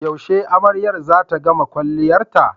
Yaushe amaryar zata gama kwalliyarta?